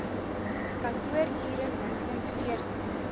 kantoorure minstens veertien